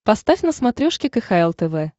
поставь на смотрешке кхл тв